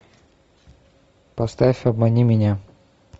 поставь обмани меня